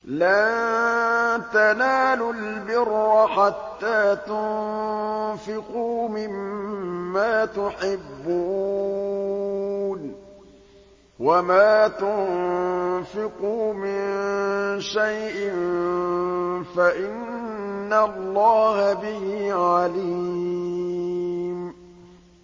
لَن تَنَالُوا الْبِرَّ حَتَّىٰ تُنفِقُوا مِمَّا تُحِبُّونَ ۚ وَمَا تُنفِقُوا مِن شَيْءٍ فَإِنَّ اللَّهَ بِهِ عَلِيمٌ